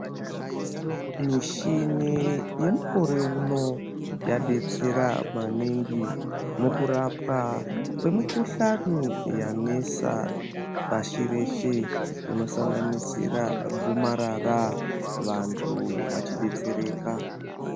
Mishini yemukwero uno yadetsera maningi mukurapwa kwemukuhlani yanetsa pashi reshe inosanganisira gomarara, vantu vachidetsereka.